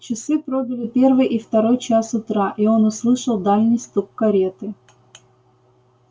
часы пробили первый и второй час утра и он услышал дальний стук кареты